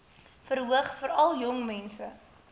verhoog veral jongmense